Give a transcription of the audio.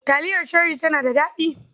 Taliyar Cherie tana da daɗi.